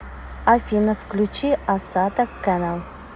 афина включи асата кэнэл